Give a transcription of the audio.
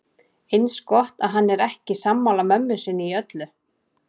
Eins gott að hann er ekki sammála mömmu sinni í öllu.